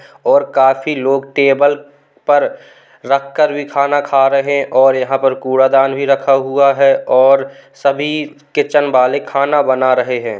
और काफी लोग टेबुल पर रख कर भी खाना खा रहे है और यहाँ पर कूड़ा दान भी रखा हुआ है और सभी किचन वाले खाना बना रहे है।